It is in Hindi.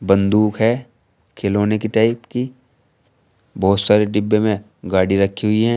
बंदूक है खिलौने की टाइप की बहोत सारी डिब्बे में गाड़ी रखी हुई हैं।